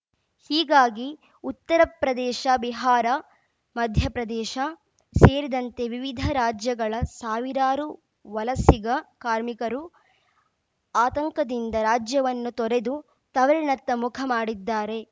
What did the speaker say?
ಹೀಗಾಗಿ ಉತ್ತರಪ್ರದೇಶ ಬಿಹಾರ ಮಧ್ಯಪ್ರದೇಶ ಸೇರಿದಂತೆ ವಿವಿಧ ರಾಜ್ಯಗಳ ಸಾವಿರಾರು ವಲಸಿಗ ಕಾರ್ಮಿಕರು ಆತಂಕದಿಂದ ರಾಜ್ಯವನ್ನು ತೊರೆದು ತವರಿನತ್ತ ಮುಖ ಮಾಡಿದ್ದಾರೆ